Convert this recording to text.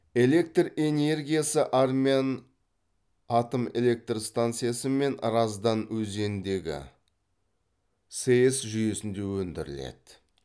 электр энергиясы армян атомэлектрстанциясы мен раздан өзеніндегі сэс жүйесінде өндіріледі